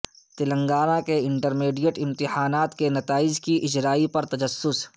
تلنگانہ کے انٹرمیڈیٹ امتحانات کے نتائج کی اجرائی پر تجسس